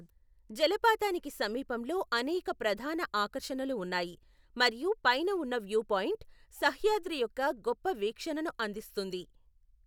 జలపాతానికి సమీపంలో అనేక ప్రధాన ఆకర్షణలు ఉన్నాయి మరియు పైన ఉన్న వ్యూ పాయింట్ సహ్యాద్రి యొక్క గొప్ప వీక్షణను అందిస్తుంది.